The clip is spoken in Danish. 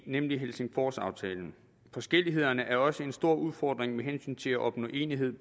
nemlig helsingforsaftalen forskellighederne er også en stor udfordring med hensyn til at opnå enighed